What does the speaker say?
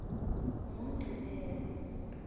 ngumgcibelo